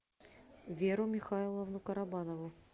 веру михайловну карабанову